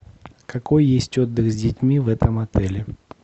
какой есть отдых с детьми в этом отеле